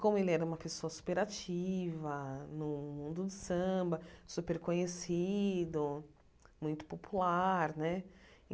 como ele era uma pessoa super ativa no mundo do samba, super conhecido, muito popular né.